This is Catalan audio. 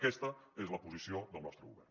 aquesta és la posició del nostre govern